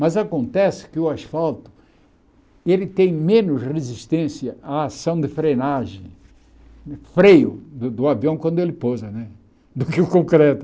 Mas acontece que o asfalto ele tem menos resistência à ação de frenagem, freio do avião quando ele pousa né, do que o concreto.